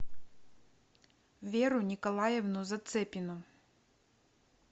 веру николаевну зацепину